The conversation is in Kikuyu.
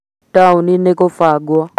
Taũni nĩ kũbangwo